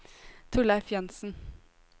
Torleif Jansen